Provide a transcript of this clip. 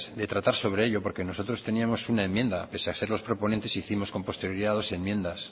de tratar sobre ello porque nosotros teníamos una enmienda pese a ser los proponentes hicimos con posterioridad dos enmiendas